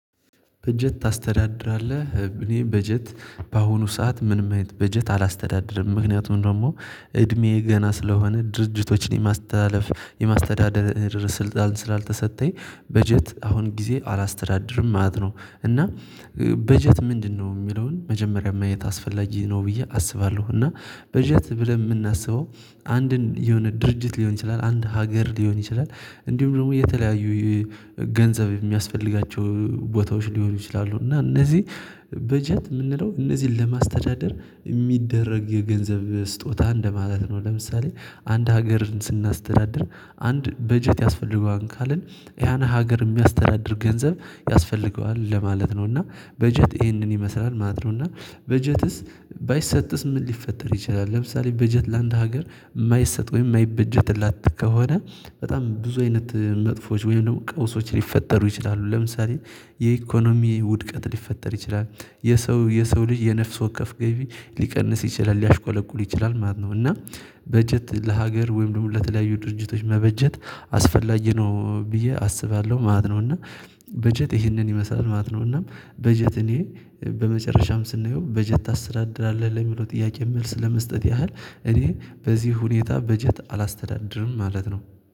በጀት ታስተዳድራለህ እ እኔ በጀት በአሁኑ ሰዓት ምንም አይነት በጀት አላስተዳድርም ምክንያቱም ደግሞ እድሜዬ ገና ስለሆነ ድርጅቶችን የማስተላለፍ የማስተዳደር ስልጣን ስላልተሰጠኝ በጀት አሁን ጊዜ አላስተዳድርም ማለት ነው። እና እ በጀት ምንድነው የሚለውን መጀመሪያ ማየት አስፈላጊ ነው ብዬ አስባለሁ። እና በጀት ብለን የምናስበው አንድን የሆነ ድርጅት ሊሆን ይችላል አንድ ሀገር ሊሆን ይችላል። እንዲሁም ደግሞ የተለያዩ ገንዘብ የሚያስፈልጋቸው ቦታዎች ሊሆኑ ይችላሉ እና እነዚህ በጀት የምንለው እነዚህን ለማስተዳደር የሚደረግ የገንዘብ ስጦታ እንደማለት ነው። ለምሳሌ አንድ ሀገርን ስናስተዳድር አንድ በጀት ያስፈልገዋል ካልን ያን ሀገር የሚያስተዳድር ገንዘብ ያስፈልገዋል ለማለት ነው። እና በጀት ይሄንን ይመስላል ማለት ነው። እና በጀትስ ባይሰጥስ ምን ሊፈጠር ይችላል? ለምሳሌ በጀት ለአንድ ሀገር የማይሰጥ ወይም የማይበጀትላት ከሆነ በጣም ብዙ አይነት መጥፎዎች ወይም ደግሞ ቀውሶች ሊፈጠሩ ይችላሉ ለምሳሌ የኢኮኖሚ ውድቀት ሊፈጠር ይችላል። የሰው የሰው ልጅ የነፍስ ወከፍ ገቢ ሊቀንስ ይችላል ሊያሽቆለቁል ይችላል ማለት ነው። እና በጀት ለሀገር ወይም ለተለያዩ ድርጅቶች መበጀት አስፈላጊ ነው እ ብዬ አስባለሁ ማለት ነው። እና በጀት ይሄንን ይመስላል ማለት ነው። እና በጀት እኔ በመጨረሻም ስናየው በጀት ታስተዳድራለህ ለሚለው ጥያቄ መልስ ለመስጠት ያህል እኔ በዚህ ሁኔታ በጀት አላስተዳድርም ማለት ነው